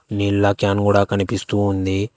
నీళ్ల క్యాన్ గూడ కనిపిస్తూ ఉంది.